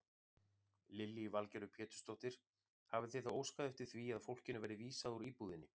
Lillý Valgerður Pétursdóttir: Hafið þið þá óskað eftir því að fólkinu verði vísað úr íbúðinni?